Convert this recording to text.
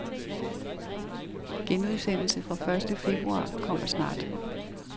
Genudsendelse fra første februar kommer snart.